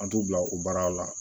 An t'u bila o baara la